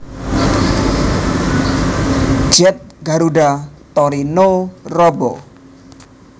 Jet Garuda Tori no Robo